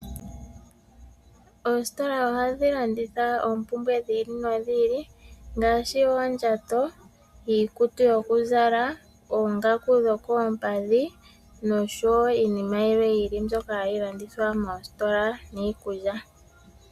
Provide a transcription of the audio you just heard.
Oositola ohadhi landitha oompumbwe dhi ili nodhi ili ngaashi oondjato, iikutu yokuzala, oongaku dhoompadhi noshowo iinima yilwe yi ili mbyoka hayi landithwa mositola niikulya.